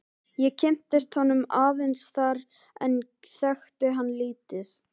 Ég kynntist honum aðeins þar en þekkti hann lítið.